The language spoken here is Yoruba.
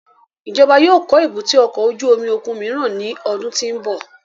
Ijọba yóò kọ èbúté ọkọ ojú omi okun miiran ni ọdun ti n bọ